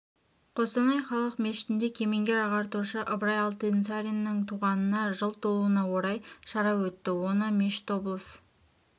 қостанай қалалық мешітінде кемеңгер ағартушы ыбырай алтынсариннің туғанына жыл толуына орай шара өтті оны мешіт облыс